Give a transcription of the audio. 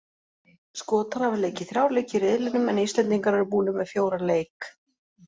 Skotar hafa leikið þrjá leiki í riðlinum en Íslendingar eru búnir með fjóra leik.